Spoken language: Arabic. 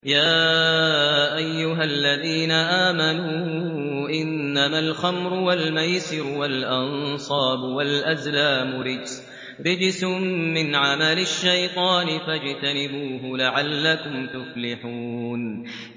يَا أَيُّهَا الَّذِينَ آمَنُوا إِنَّمَا الْخَمْرُ وَالْمَيْسِرُ وَالْأَنصَابُ وَالْأَزْلَامُ رِجْسٌ مِّنْ عَمَلِ الشَّيْطَانِ فَاجْتَنِبُوهُ لَعَلَّكُمْ تُفْلِحُونَ